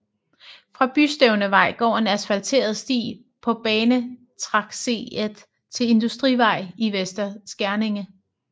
Fra Bystævnevej går en asfalteret sti på banetracéet til Industrivej i Vester Skerninge